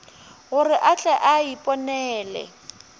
gore a tle a iponele